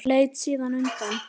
Leit síðan undan.